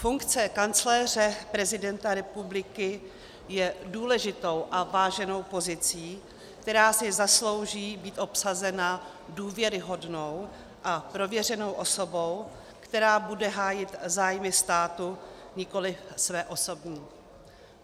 Funkce kancléře prezidenta republiky je důležitou a váženou pozicí, která si zaslouží být obsazena důvěryhodnou a prověřenou osobou, která bude hájit zájmy státu, nikoliv své osobní.